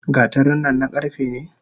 Gatarin nan na karfe ne?